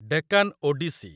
Deccan Odissi